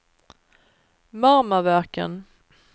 Marmaverken